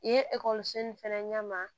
I ye ekɔliso nin fɛnɛ ɲɛma